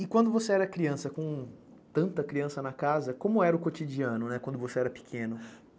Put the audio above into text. E quando você era criança, com tanta criança na casa, como era o cotidiano, né, quando você era pequeno?